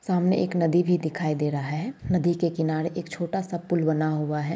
सामने एक नदी भी दिखाई दे रहा है। नदी के किनारे एक छोटा सा पुल बना हुआ है।